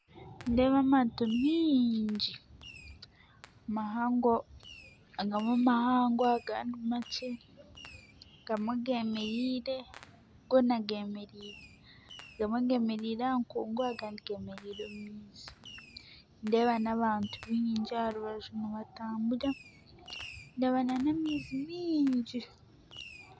Nindeeba amaato maingi mahango abamwe mahango agandi makye agamwe gemereire goona gemereire agamwe gemereire aha nkungu agandi gemereire omu maizi nindeeba nabantu baingi aha rubaju nibatambura ndeeba n'amaizi maingi